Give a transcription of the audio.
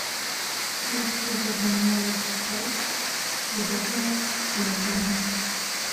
я хочу забронировать стол в удобное для меня время